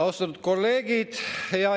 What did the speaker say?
Austatud kolleegid!